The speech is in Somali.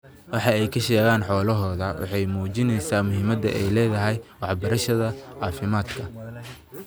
Waxa ay ka sheegaan xoolahooda waxa ay muujinayaan muhiimadda ay leedahay waxbarashada caafimaadka.